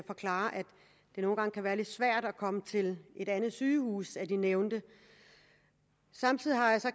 det nogle gange kan være lidt svært at komme til et andet sygehus end de nævnte samtidig har jeg så